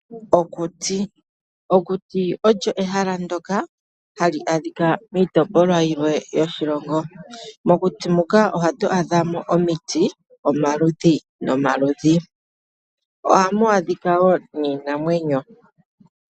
Okuti, okuti olyo ehala ndyoka ha li adhika miitopolwa yimwe yoshilongo, mokuti muka ohatu adha mo omiti omaludhi nomaludhi, ohamu adhika niinamwenyo.